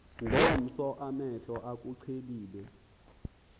ngomso amehlo akuqhelile